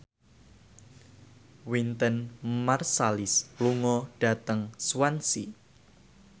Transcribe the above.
Wynton Marsalis lunga dhateng Swansea